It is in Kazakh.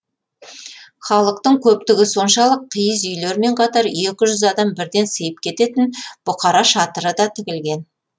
халықтың көптігі соншалық киіз үйлермен қатар екі жүз адам бірден сыйып кететін бұқара шатыры да тігілген